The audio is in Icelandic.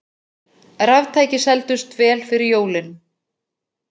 Raftæki seldust vel fyrir jólin